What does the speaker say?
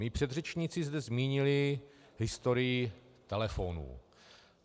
Mí předřečníci zde zmínili historii telefonů.